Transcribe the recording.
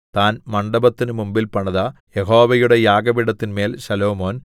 താൻ മണ്ഡപത്തിനു മുമ്പിൽ പണിത യഹോവയുടെ യാഗപീഠത്തിന്മേൽ ശലോമോൻ